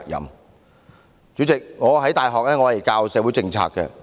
代理主席，我在大學教授社會政策。